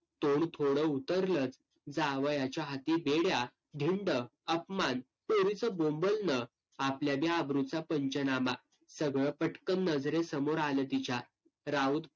तोंड थोडं उतरलं, जावयाच्या हाथी बेड्या, धिंड, अपमान, पोरीचं बोंबलणं, आपल्या बी अब्रूचा पंचनामा सगळं पटकन नजरेसमोर आलं तिच्या. राऊत